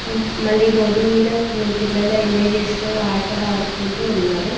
మ్మ్ మళ్లీ బోర్డి మీద కొన్ని పిల్లల ఇమేజెస్ తో ఆటలాడుకుంటూ ఉన్నారు.